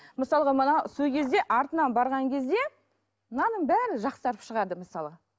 мысалға мына сол кезде артынан барған кезде мынаның бәрі жақсарып шығады мысалы